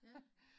Ja